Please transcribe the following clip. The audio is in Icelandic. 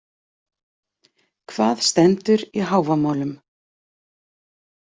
Hvað stendur í Hávamálum?